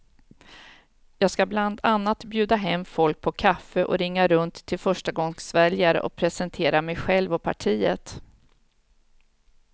Jag ska bland annat bjuda hem folk på kaffe och ringa runt till förstagångsväljare och presentera mig själv och partiet.